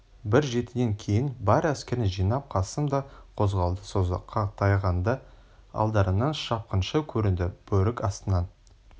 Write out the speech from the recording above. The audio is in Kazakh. бір жетіден кейін бар әскерін жинап қасым да қозғалды созаққа таяғанда алдарынан шапқыншы көрінді бөрік астынан